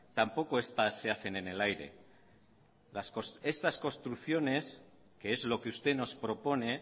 tampoco estas se hacen en el aire estas construcciones que es lo que usted nos propone